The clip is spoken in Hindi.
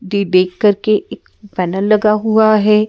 डी देख करके एक पैनल लगा हुआ है।